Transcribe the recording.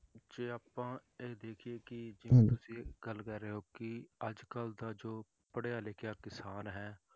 ਜੇ ਆਪਾਂ ਇਹ ਦੇਖੀਏ ਕਿ ਜਿਵੇਂ ਤੁਸੀਂ ਇਹ ਗੱਲ ਕਹਿ ਰਹੇ ਹੋ ਕਿ ਅੱਜ ਕੱਲ੍ਹ ਦਾ ਜੋ ਪੜ੍ਹਿਆ ਲਿਖਿਆ ਕਿਸਾਨ ਹੈ